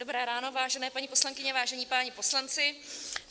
Dobré ráno, vážené paní poslankyně, vážení páni poslanci.